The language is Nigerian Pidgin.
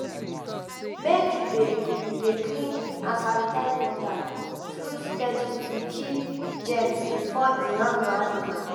make you dey you dey clean and sanitize water trough steady to kill germs before e harm your animals